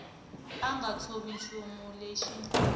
a nga tshovi nchumu lexi